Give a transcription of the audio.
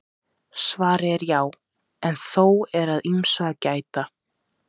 Svarið er já en þó er að ýmsu að gæta.